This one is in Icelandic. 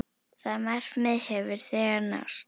Það markmið hefur þegar náðst.